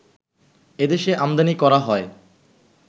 এদেশে আমদানি করা হয়